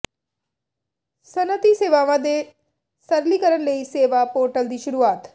ਸਨਅਤੀ ਸੇਵਾਵਾਂ ਦੇ ਸਰਲੀਕਰਨ ਲਈ ਸੇਵਾ ਪੋਰਟਲ ਦੀ ਸ਼ੁਰੂਆਤ